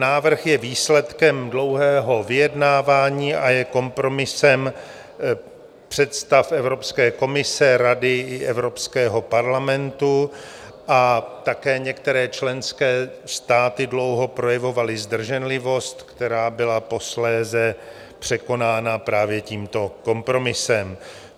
Návrh je výsledkem dlouhého vyjednávání a je kompromisem představ Evropské komise, Rady i Evropského parlamentu a také některé členské státy dlouho projevovaly zdrženlivost, která byla posléze překonána právě tímto kompromisem.